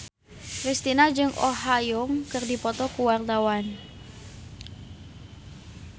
Kristina jeung Oh Ha Young keur dipoto ku wartawan